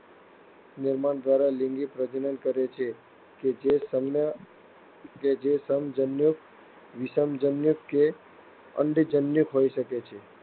નિર્માણ દ્વારા લિંગી પ્રજનન કરે છે કે જે સમજન્યુક, વિષમજન્યુક કે અંડજન્યુક હોઈ શકે છે.